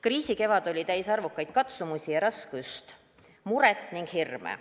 Kriisikevad oli täis arvukaid katsumusi, raskust, muret ja hirme.